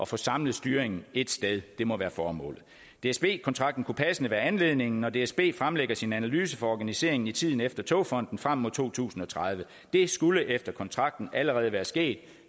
få samlet styringen ét sted må være formålet dsb kontrakten kunne passende være anledningen når dsb fremlægger sin analyse for organiseringen i tiden efter togfonden dk frem mod to tusind og tredive det skulle efter kontrakten allerede være sket